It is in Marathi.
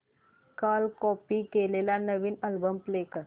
काल कॉपी केलेला नवीन अल्बम प्ले कर